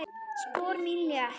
Spor mín létt.